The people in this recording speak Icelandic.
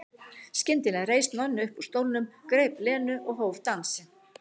Skyndilega reis Nonni upp úr stólnum, greip Lenu og hóf dansinn.